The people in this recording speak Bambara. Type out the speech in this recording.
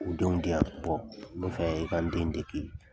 O denw di yan n bɛ fɛ i ka n den deki